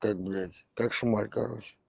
как блядь как шмаль короче